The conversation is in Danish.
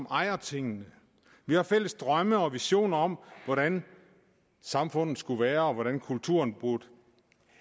ejer tingene vi har fælles drømme og visioner om hvordan samfundet skulle være og hvordan kulturen burde